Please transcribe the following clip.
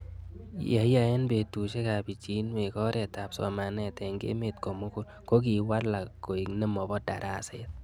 ye iyai eng' petushek ab pichinwek oret ab somanet eng'emet komugul ko kiwalak koek nemapo daraset